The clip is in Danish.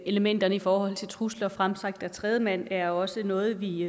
elementerne i forhold til trusler fremsagt af tredjemand er også noget vi